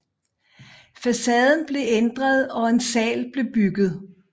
Facaden blev ændret og en sal blev bygget